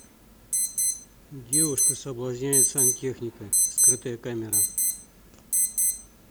девушка соблазняет сантехника скрытая камера